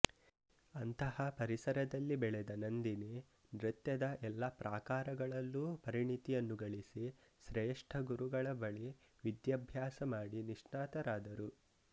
ಅಂತಹ ಪರಿಸರದಲ್ಲಿ ಬೆಳೆದ ನಂದಿನಿ ನೃತ್ಯದ ಎಲ್ಲಾ ಪ್ರಾಕಾರಗಳಲ್ಲೂ ಪರಿಣತಿಯನ್ನು ಗಳಿಸಿ ಶ್ರೇಷ್ಠ ಗುರುಗಳ ಬಳಿ ವಿದ್ಯಾಭ್ಯಾಸಮಾಡಿ ನಿಷ್ಣಾತರಾದರು